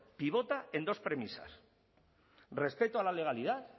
pivota en dos premisas respecto a la legalidad